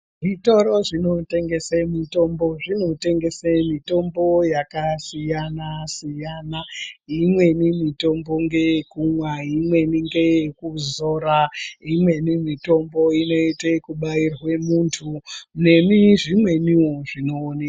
Zvitoro zvinotengese mitombo zvinotengese mitombo yakasiyana siyana. Imweni mitombo ngeyekumwa, imweni ngeye kuzora, imweni mitombo inoite kubairwe muntu ngezvimweniwo zvinoonekwe.